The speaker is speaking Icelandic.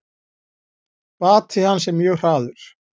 Bati hans er mjög hraður.